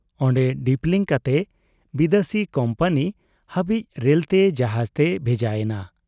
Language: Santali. ᱚᱱᱰᱮ ᱰᱤᱯᱞᱤᱝ ᱠᱟᱛᱮ ᱵᱤᱫᱟᱹᱥᱤ ᱠᱚᱢᱯᱟᱹᱱᱤ ᱦᱟᱹᱵᱤᱡ ᱨᱮᱞᱛᱮ , ᱡᱟᱦᱟᱡᱽᱛᱮ ᱵᱷᱮᱡᱟ ᱮᱱᱟ ᱾